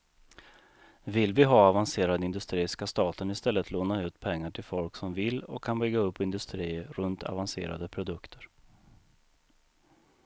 Vill vi ha avancerad industri skall staten i stället låna ut pengar till folk som vill och kan bygga upp industrier runt avancerade produkter.